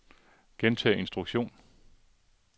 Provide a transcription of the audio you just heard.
gentag instruktion